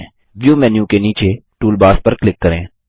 view menu के नीचे toolbars पर क्लिक करें